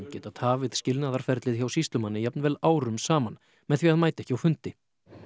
geta tafið skilnaðarferlið hjá sýslumanni jafnvel árum saman með því að mæta ekki á fundi